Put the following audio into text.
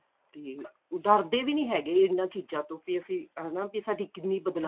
ਤੇ ਡਰਦੇ ਵੀ ਨੀ ਹੈਗੇ ਇਹਨਾਂ ਚੀਜ਼ਾਂ ਤੋਂ ਵੀ ਹਨਾ ਵੀ ਸਾਡੀ ਕਿੰਨੀ ਬਦਨਾਮੀ